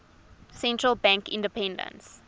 central bank independence